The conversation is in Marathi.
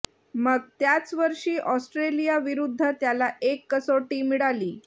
मग त्याच वर्षी ऑस्ट्रेलियाविरुद्ध त्याला एक कसोटी मिळाली